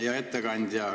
Hea ettekandja!